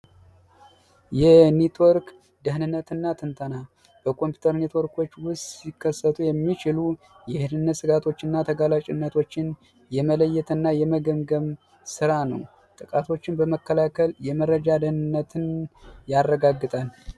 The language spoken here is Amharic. የኔትወርክ ደህንነትና ጥበቃ የኮምፒውተር ኔትወርክ ሊከሰቱ የሚችሉ የደህንነት ስጋቶች እና ተጋላጭነት የመለየትና የመገምገም ስራ ጥቃትን በመከላከል የመረጃ ደህንነትን ያረጋግጣል።